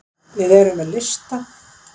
Við erum með lista.